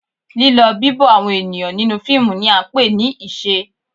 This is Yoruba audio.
Lílọ, bibo àwọn ènìyàn nínú fíìmù ni à ń pè ní ìṣe.